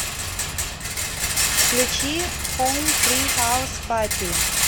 включи хом фри хаус пати